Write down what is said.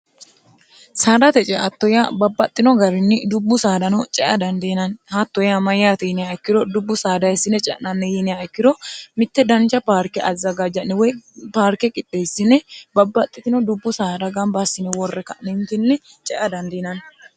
saadate ceattoyyaa babbaxxino garinni dubbu saadano cea dandiinanni haattoyyaa mayyaati yiniya ikkiro dubbu saadahessine ce'nanni yiinia ikkiro mitte danja paarke azagajja'niwoy paarke qideessine babbaxxitino dubbu saada gambaassine worre ka'nimtinni cea dandiinanni